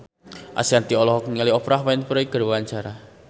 Ashanti olohok ningali Oprah Winfrey keur diwawancara